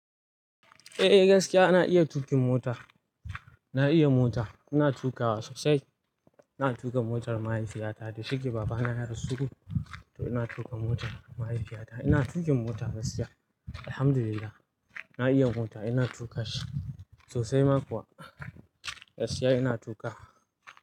Eh gaskiya ina iya tuƙin mota. Na iya mota. Ina tuƙawa sosai. Ina tuƙa motar mahaifiyata. Da shi ke babana ya rasu, to ina tuƙa motar mahaifiyata. Ina tuƙin mota gaskiya. Alhamdulillah. Na iya mota. Ina tuƙa shi sosai ma kuwa. Gaskiya ina tuƙa.